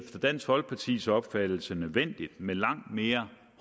dansk folkepartis opfattelse nødvendigt med langt mere